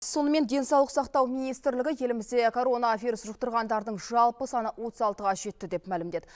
сонымен денсаулық сақтау министрлігі елімізде коронавирус жұқтырғандардың жалпы саны отыз алтыға жетті деп мәлімдеді